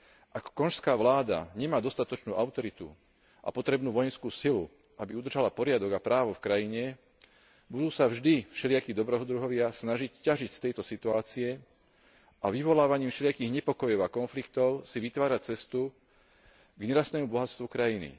Ak konžská vláda nemá dostatočnú autoritu a potrebnú vojenskú silu, aby udržala poriadok a právo v krajine, budú sa vždy všelijakí dobrodruhovia snažiť ťažiť z tejto situácie a vyvolávaním všelijakých nepokojov a konfliktov si vytvárať cestu k nerastnému bohatstvu krajiny.